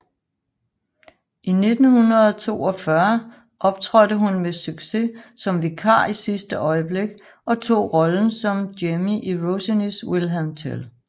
I 1942 optrådte hun med succes som vikar i sidste øjeblik og tog rollen som Jemmy i Rossinis William Tell